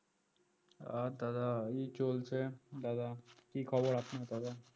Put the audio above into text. আর দাদা এই চলছে দাদা কি খবর আপনার দাদা